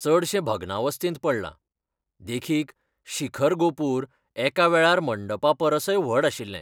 चडशें भग्नावस्थेंत पडलां, देखीक, शिखर गोपूर, एका वेळार मंडपा परसय व्हड आशिल्लें.